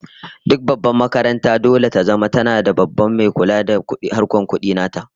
Duk babbar makaranta dole ta zama tana da Babban mai kula da harkokin kudi nata